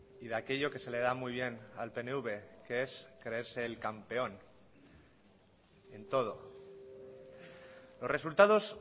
y de aquello que se le da muy bien al pnv que es creerse el campeón en todo los resultados